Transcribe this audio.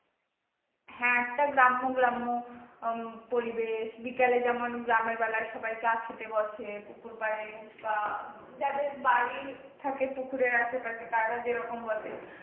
হ্যাঁ একটা গ্রাম্য গ্রাম্য উম পরিবেশ বিকেলে যেমন গ্রামের বেলায় সবাই চা খেতে বসে পুকুর পাড়ে বা যাদের বাড়ি থাকে পুকুরের আশেপাশে তারা যেরকম বসে,